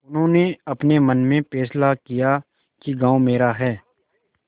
उन्होंने अपने मन में फैसला किया कि गॉँव मेरा है